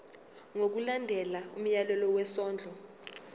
ngokulandela umyalelo wesondlo